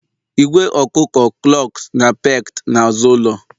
Ìgwè ọkụkọ clucked na pecked n'azụ ụlọ.